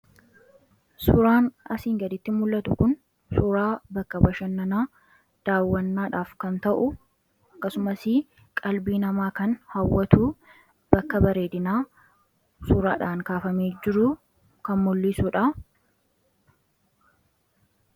suuraan asiin gaditti mul'atu kun suuraa bakka bashannanaa daawwannaadhaaf kan ta'u akkasumasi qalbii namaa kan hawwatuu bakka bareedinaa suuraadhaan kaafamii jiruu kan mulliisuudha